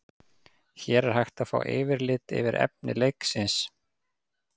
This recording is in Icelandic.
Hér er hægt er að fá yfirlit yfir efni leiksins.